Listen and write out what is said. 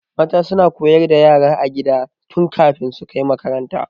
Mata suna koyar da yara a gida tun kafin su kai makaranta.